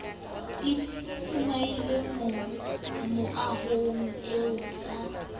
di fihlile mohwang e sa